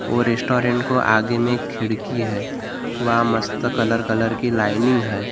और रेस्टोरेंट को आगे में खिड़की है वहां मस्त कलर कलर की लाइनिंग है।